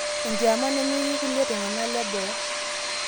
enkiama nemetii irkulie tung'anak leboo